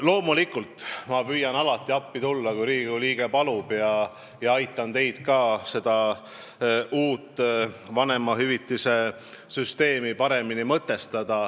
Loomulikult ma püüan alati appi tulla, kui Riigikogu liige palub, ja aitan teil ka seda uut vanemahüvitise süsteemi paremini mõista.